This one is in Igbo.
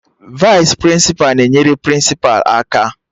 Vaịs prịnsịpa na-enyere prịnsịpa aka